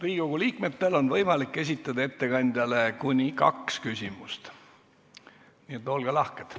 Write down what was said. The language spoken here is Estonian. Riigikogu liikmetel on võimalik esitada ettekandjale kuni kaks küsimust, nii et olge lahked.